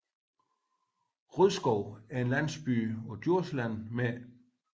Rodskov er en landsby på Djursland med